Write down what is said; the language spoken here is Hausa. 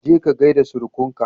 Je ka gaida surukan ka